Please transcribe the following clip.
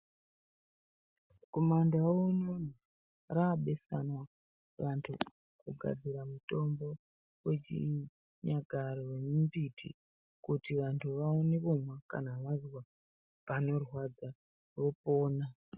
Kumandau unono raabesanwa vantu kugadzira mutombo wechiinyakare yemimbiti kuti vantu vaone kumwa kana vazwe panorwadza vopona.